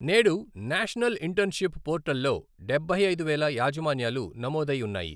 నేడు national internship portal లో డబ్బై ఐదు వేల యాజమాన్యాలు నమోదై ఉన్నాయి.